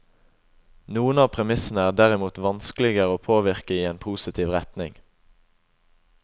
Noen av premissene er derimot vanskeligere å påvirke i en positiv retning.